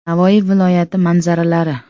Navoiy viloyati manzaralari.